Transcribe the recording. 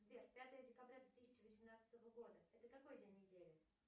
сбер пятое декабря две тысячи восемнадцатого года это какой день недели